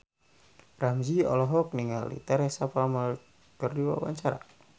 Ramzy olohok ningali Teresa Palmer keur diwawancara